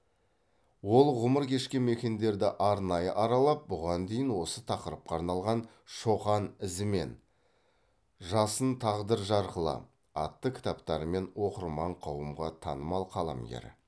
ол ғұмыр кешкен мекендерді арнайы аралап бұған дейін осы тақырыпқа арналған шоқан ізімен жасын тағдыр жарқылы атты кітаптарымен оқырман қауымға танымал қаламгер